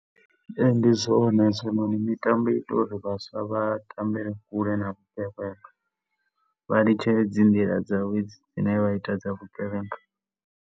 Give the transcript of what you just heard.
Ee, ndi zwone hezwo, mitambo i ita uri vhaswa vha tambele kule na vhugevhenga. Vha litshe dzi nḓila dzavho hedzo dzine vha ita dza vhugevhenga.